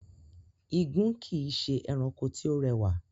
Igún kìí ṣe erankọ tí ó rẹwà.